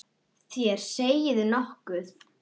Þér segið nokkuð!